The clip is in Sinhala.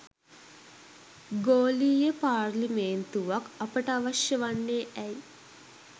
ගෝලීය පාර්ලිමේන්තුවක් අපට අවශ්‍ය වන්නේ ඇයි?